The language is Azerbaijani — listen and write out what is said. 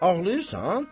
Ağlayırsan?